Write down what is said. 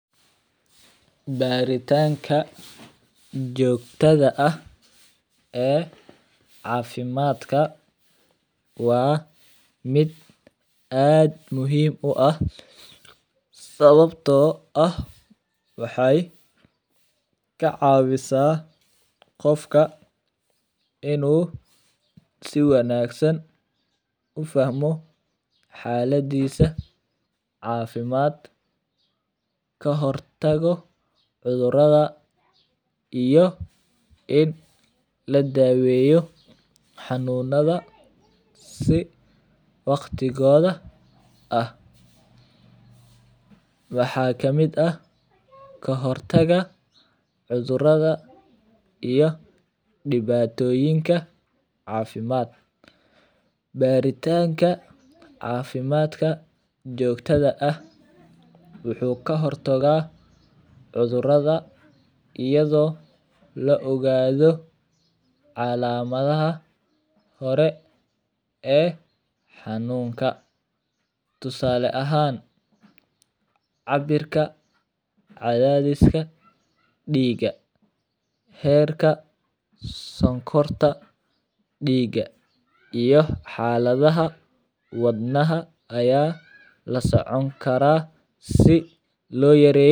Baritanka jogtadha ah ee cafimaadka waa miid asd muhiim u ah sawabto ah waxee ka cawisa qofka in u si wanagan u fahmo xaladisa cafimaad ka hortago cudhuraada iyo in ladaweyo xanunadha si waqtigodha ah, waxaa kamiid ah kahortaga cudhuraada iyo diwatoyinka cafimaad beeritanka cafimaadka jogtadha ah waxuu ka hortaga cudhuraada iyadho la ogadho calamaadaha hore ee xanunka tisale ahan cabirka cadhadiska diga heerka sonkorta diga iyo xalaada wadnaha aya lasoconi karaa si lo yareyo.